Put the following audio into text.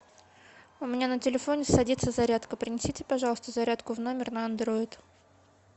у меня на телефоне садится зарядка принесите пожалуйста зарядку в номер на андроид